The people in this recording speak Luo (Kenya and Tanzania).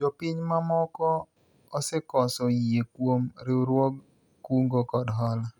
jopiny mamoko osekoso yie kuom riwruog kungo kod hola